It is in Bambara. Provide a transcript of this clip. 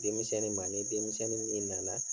Denmisɛnnin ma nin denmisɛnnin min nana